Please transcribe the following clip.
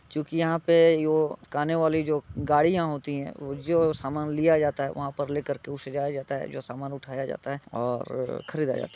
जो कि यहाँ पे यो गाने वाली जो गाडियाँ होती हैं वो जो सामान लिया जाता है वहाँ पर लेकर उसे जाया जाता है जो सामान उठाया जाता है और ख़रीदा जाता --